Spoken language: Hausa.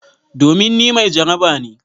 Domin ni mai jaraba ne.